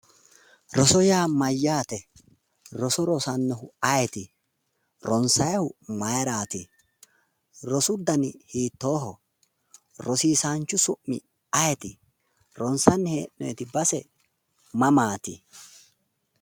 Roso yaa mayyaate? roso rosannohu ayeeti? ronsaayoohu mayiiraati? rosu dani hiitooho? rosiisaanchu su'mi ayeeti? ronsanni hee'noyiiti base mamaati?